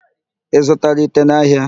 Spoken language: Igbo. Ị zụtara ite n'ahịa?